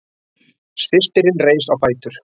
Systirin reis á fætur.